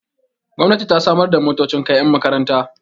gomnati ta samar da motocin kai yan makaranta